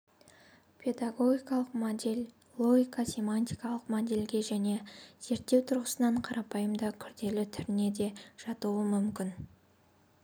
педагогикалық модельлогика-семиотикалық модельге және зерттеу тұрғысынан қарапайым да күрделі түріне де жатуы мүмкін